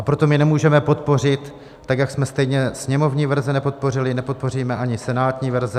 A proto my nemůžeme podpořit, tak jak jsme stejně sněmovní verze nepodpořili, nepodpoříme ani senátní verze.